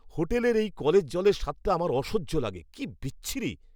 হোটেলের এই কলের জলের স্বাদটা আমার অসহ্য লাগে, কি বিচ্ছিরি।